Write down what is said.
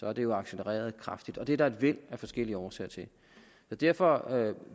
er det jo accelereret kraftigt og det er der et væld af forskellige årsager til derfor